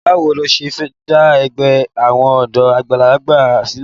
Báwo lo ṣe fẹ́ dá ẹgbẹ́ àwọn ọ̀dọ́ àgbàlagbà sílẹ̀?